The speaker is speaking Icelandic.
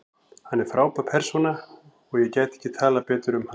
Hann er frábær persóna og ég gæti ekki talað betur um hann.